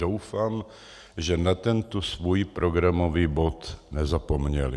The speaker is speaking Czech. Doufám, že na tento svůj programový bod nezapomněli.